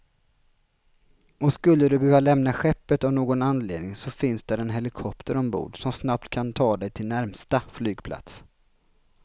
Och skulle du behöva lämna skeppet av någon anledning så finns där en helikopter ombord, som snabbt kan ta dig till närmsta flygplats.